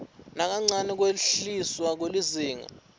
nakancane kwehliswa kwelizinga